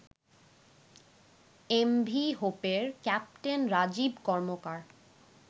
MV হোপের captain Rajib কর্মকার